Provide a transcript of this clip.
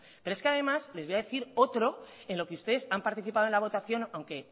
pero es que además les voy a decir otro en lo que ustedes han participado en la votación aunque